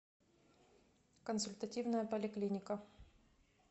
консультативная поликлиника